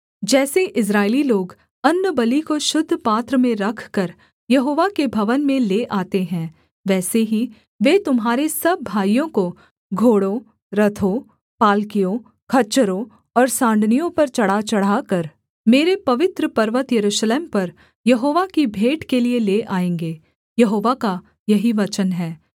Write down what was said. जैसे इस्राएली लोग अन्नबलि को शुद्ध पात्र में रखकर यहोवा के भवन में ले आते हैं वैसे ही वे तुम्हारे सब भाइयों को भाइयों को जातियों से घोड़ों रथों पालकियों खच्चरों और साँड़नियों पर चढ़ाचढ़ाकर मेरे पवित्र पर्वत यरूशलेम पर यहोवा की भेंट के लिये ले आएँगे यहोवा का यही वचन है